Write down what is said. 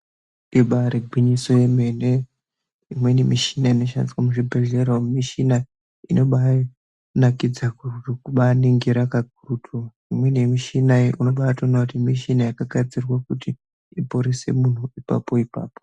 Ibairi ngwinyiso yemene imweni mishina ino shandiswa muzvi bhedhlera umu mishina inobai nakidza kubai ningira kakurutu imweni mishina iyi mishina yaka gadzirwa kuti iporese muntu ipapo ipapo.